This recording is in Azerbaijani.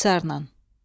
İxtisarla.